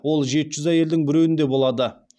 ол жеті жүз әйелдің біреуінде болады